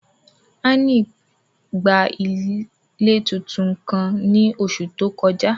Anny gba ile titun kan ni oṣu to koja.